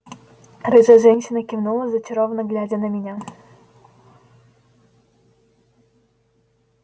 рыжая женщина кивнула зачарованно глядя на меня